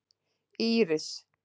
Íris